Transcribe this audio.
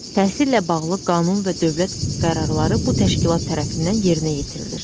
Təhsillə bağlı qanun və dövlət qərarları bu təşkilat tərəfindən yerinə yetirilir.